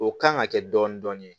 O kan ka kɛ dɔɔnin dɔɔnin